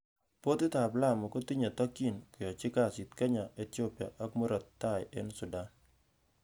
Portit ab Lamu kotinye tokyin, koyochi kasit Kenya, Ethiopia ak Murot Tai en Sudan.